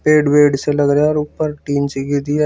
पेड़ वेड़ से लग रहा है ऊपर टीन से घिरी है।